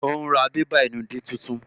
Ó ún ra bébà ìnùdí tuntun